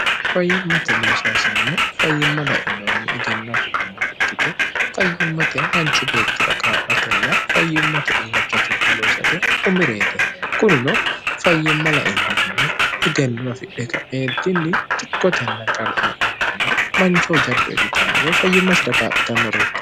fayyimmate noosaasinino fayyimma lainnehunni egenno afidhinne rikkite fayyimmate manchu beettira kaa'latenna fayyimmate illacha tugge loosate umireete kunino fayyimma lainnihunni egennowafidhika eeddinni xikkotenna qar lainnihunni manchoho jaddo iillitannogae fayyimmasi ragaaphitannoreeti